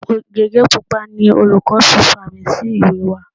Gege pupa ni olùkọ́ fi fàmì sí ìwé wa.